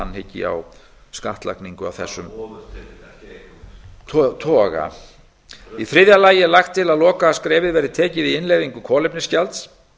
hyggi á skattlagningu af þessum hvaða ofurtekjur toga í þriðja lagi er lagt til að lokaskrefið verði tekið í innleiðingu kolefnisgjalds